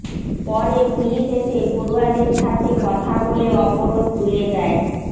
পরে পুলিশ এসে পড়ুয়াদের সাথে কথা বলে অবরোধ তুলে দেয়